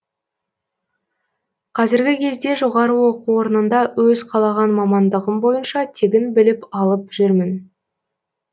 қазіргі кезде жоғары оқу орнында өз қалаған мамандығым бойынша тегін білім алып жүрмін